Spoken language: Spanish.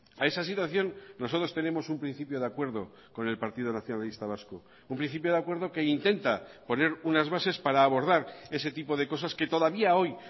a esa situación nosotros tenemos un principio de acuerdo con el partido nacionalista vasco un principio de acuerdo que intenta poner unas bases para abordar ese tipo de cosas que todavía hoy